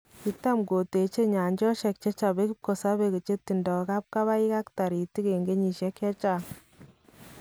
Kitam koteche nyaanchosheek chechope kipkosobe chetindo kapkabaik ab taritiik en kenyisiek chechang